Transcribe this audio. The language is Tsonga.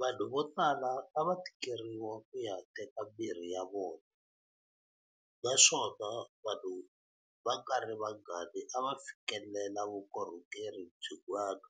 Vanhu votala a va tikeriwa ku ya teka mirhi ya vona, naswona vanhu va nga ri vangani a va fikelela vukorhokeri byin'wana